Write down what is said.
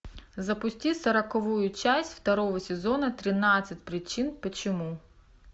запусти сороковую часть второго сезона тринадцать причин почему